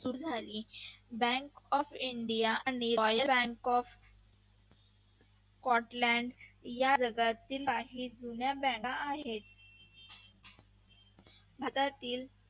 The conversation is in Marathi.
सुरू झाली bank of india bank of scotland या जगातील काही जुन्या bank हेत. भारतातील